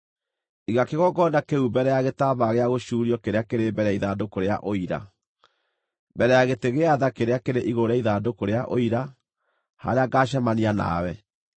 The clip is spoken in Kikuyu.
Iga kĩgongona kĩu mbere ya gĩtambaya gĩa gũcuurio kĩrĩa kĩrĩ mbere ya ithandũkũ rĩa Ũira, mbere ya gĩtĩ gĩa tha kĩrĩa kĩrĩ igũrũ rĩa ithandũkũ rĩa Ũira, harĩa ngaacemania nawe.